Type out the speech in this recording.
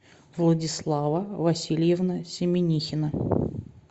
владислава васильевна семенихина